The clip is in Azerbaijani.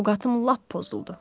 Ovqadım lap pozuldu.